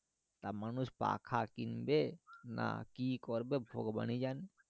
তা মানুষ পাখা কিনবে না কি করবে ভগবান ই জানে